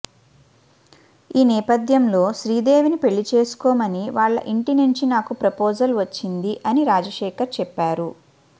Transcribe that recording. ఈ నేపథ్యంలో శ్రీదేవిని పెళ్లి చేసుకోమని వాళ్ల ఇంటి నుంచి నాకు ప్రపోజల్ వచ్చింది అని రాజశేఖర్ చెప్పారు